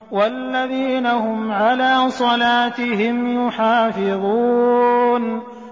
وَالَّذِينَ هُمْ عَلَىٰ صَلَاتِهِمْ يُحَافِظُونَ